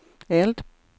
eld